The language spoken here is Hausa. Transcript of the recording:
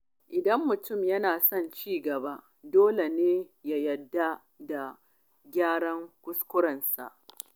Idan mutum yana son ci gaba, dole ne ya yarda da gyaran kuskurensa.